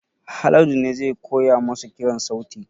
Haladu ne zai koya masa kiran sauti